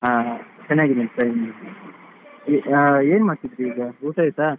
ಹಾ ಚೆನ್ನಾಗಿದ್ದೇನೆ ಚೆನ್ನಾಗಿದ್ದೇನೆ ಏನ್ ಮಾಡ್ತಿದ್ರಿ ಈಗ ಊಟ ಆಯ್ತಾ?